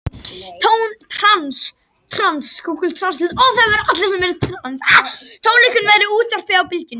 Tónleikunum verður útvarpað á Bylgjunni